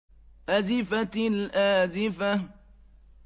أَزِفَتِ الْآزِفَةُ